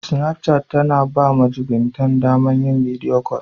Sinapchat ta na ba majubintan ta daman yin bidiyo kol.